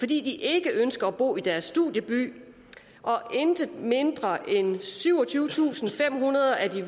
de ikke ønsker at bo i deres studieby og intet mindre end syvogtyvetusinde og femhundrede af de